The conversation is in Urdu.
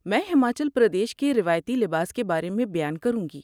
میں ہماچل پردیش کے روایتی لباس کے بارے میں بیان کروں گی۔